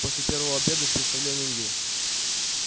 после первого обеда с представлением ю